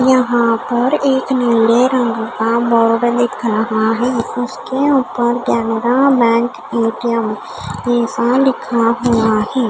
यहाँ पर एक नीले रंग का बोर्ड दिख रहा है उसके ऊपर कनाडा बैंक ए_टी_एम ऐसा लिखा हुआ है।